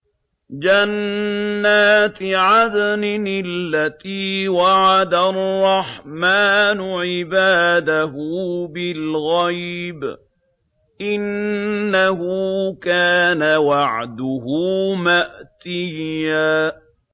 جَنَّاتِ عَدْنٍ الَّتِي وَعَدَ الرَّحْمَٰنُ عِبَادَهُ بِالْغَيْبِ ۚ إِنَّهُ كَانَ وَعْدُهُ مَأْتِيًّا